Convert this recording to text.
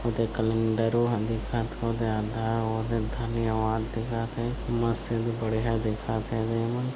ओदे कैलेंडरो ह दिखत ओदे आधा ओदे धन्यवाद दिखत हे मस्त एदे बढ़िया दिखत ए मन --